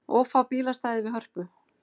Of fá bílastæði við Hörpu